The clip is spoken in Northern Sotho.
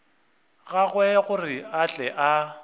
gagwe gore a tle a